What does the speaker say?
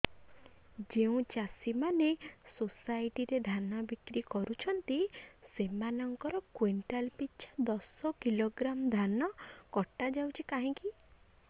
ଯେଉଁ ଚାଷୀ ମାନେ ସୋସାଇଟି ରେ ଧାନ ବିକ୍ରି କରୁଛନ୍ତି ସେମାନଙ୍କର କୁଇଣ୍ଟାଲ ପିଛା ଦଶ କିଲୋଗ୍ରାମ ଧାନ କଟା ଯାଉଛି କାହିଁକି